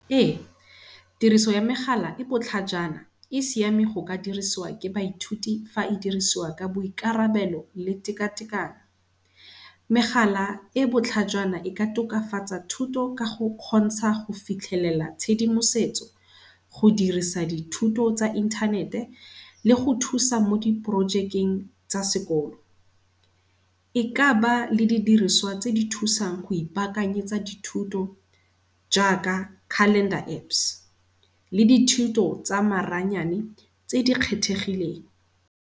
Ee, tiriso ya megala e e botlhajana, e siame go ka diriswa ke baithuti fa e dirisiwa ka boikarabelo le tekatekano. Megala e e botlhajana e ka tokafatsa thuto ka go kgontsha go fitlhelela tshedimosetso go dirisa dithuto tsa inthanete le go thusa mo di projekeng tsa sekolo. E ka ba le di diriswa tse di thusang go ipakanyetsa dithuto jaaka Calender Apps le dithuto tsa maranyane tse di kgethegileng.